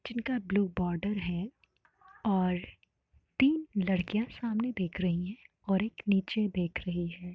जिनका blue border हैं। और तीन लडकियां सामने देख रहीं हैं और एक निचे देख रही है।